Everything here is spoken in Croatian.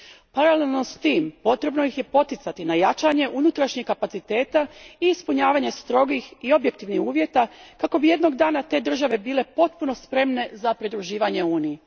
Paralelno s tim potrebno ih je poticati na jačanje unutarnjeg kapaciteta i ispunjavanje strogih i objektivnih uvjeta, kako bi jednog dana te države bile potpuno spremne za pridruživanje Uniji.